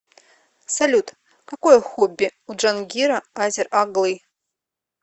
салют какое хобби у джангира азер оглы